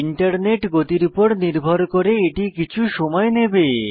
internet গতির উপর নির্ভর করে কিছু সময় নেবে